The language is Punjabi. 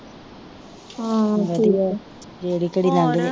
ਵਧੀਆ ਜਿਹੜੀ ਘੜੀ ਲੰਗਜੇ